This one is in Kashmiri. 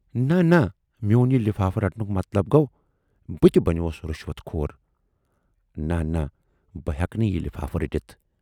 نہَ نہَ میون یہِ لِفافہٕ رٹنُک مطلب گَو بہٕ تہِ بنیووس رِشوت خور، نہَ نہَ بہٕ ہٮ۪کہٕ نہٕ یہِ لِفافہٕ رٔٹِتھ